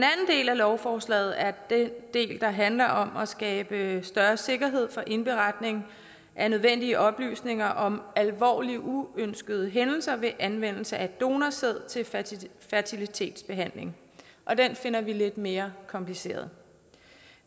del af lovforslaget er den del der handler om at skabe større sikkerhed indberetning af nødvendige oplysninger om alvorlige uønskede hændelser ved anvendelse af donorsæd til fertilitetsbehandling og den finder vi lidt mere kompliceret